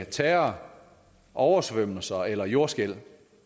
terror oversvømmelser eller jordskælv